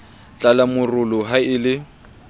tlala morolo ha e le